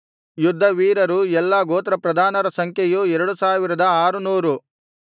ಯುದ್ಧವೀರರೂ ಎಲ್ಲಾ ಗೋತ್ರಪ್ರಧಾನರ ಸಂಖ್ಯೆಯು ಎರಡು ಸಾವಿರದ ಆರು ನೂರು